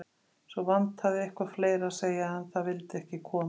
Svo vantaði eitthvað fleira að segja, en það vildi ekki koma.